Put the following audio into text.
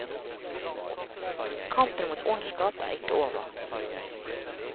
Kampen mot ondskap er ikke over.